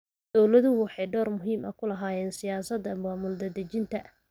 Dawladuhu waxay door muhiim ah ku lahaayeen siyaasadda maamul-daadejinta.